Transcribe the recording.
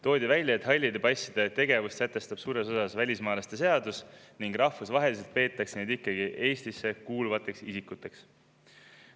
Toodi välja, et halli passi tegevust suures osas välismaalaste seadus ning rahvusvaheliselt peetakse neid ikkagi Eestisse kuuluvateks isikuteks.